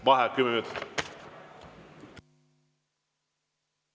Vaheaeg kümme minutit.